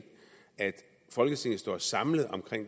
at folketinget står samlet om